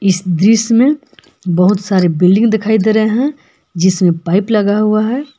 इस दृश्य में बहुत सारे बिल्डिंग दिखाई दे रहे हैं जिसमें पाइप लगा हुआ है।